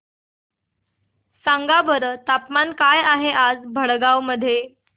सांगा बरं तापमान काय आहे आज भडगांव मध्ये